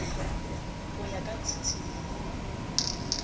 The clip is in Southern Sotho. ho ya ka tshisinyo ho